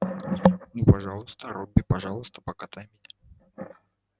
ну пожалуйста робби пожалуйста покатай меня